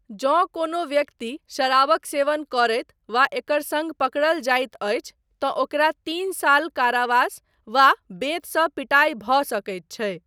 जँ कोनो व्यक्ति शराबक सेवन करैत वा एकर सङ्ग पकड़ल जाइत अछि तँ ओकरा तीन साल कारावास वा बेंतसँ पिटाइ भऽ सकैत छै।